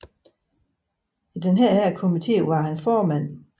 I denne komité var han formand